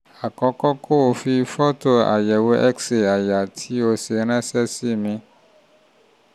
àkọ́kọ́ kó kó o fi fọ́tò àyẹ̀wò x-ray àyà tí o ṣe ránṣẹ́ sí mi